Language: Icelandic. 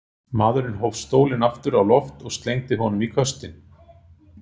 Maðurinn hóf stólinn aftur á loft og slengdi honum í köstinn.